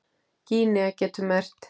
Gínea getur merkt